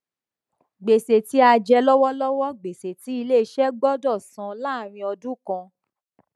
gbèsè tí a jẹ lọwọlọwọ gbèsè tí ilé iṣẹ gbọdọ san láàrín ọdún kan